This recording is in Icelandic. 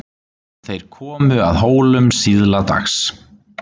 Þeir komu að Hólum síðla dags.